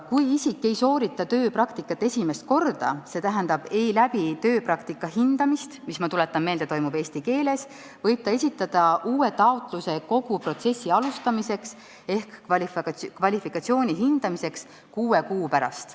Kui isik ei soorita tööpraktikat esimest korda, st ei läbi tööpraktika hindamist, mis, ma tuletan meelde, toimub eesti keeles, võib ta esitada uue taotluse kogu protsessi alustamiseks ehk kvalifikatsiooni hindamiseks kuue kuu pärast.